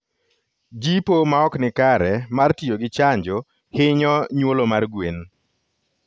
Jipo ma ok nikare mar tiyo gi chanjo hinyo nyuolo mar gwen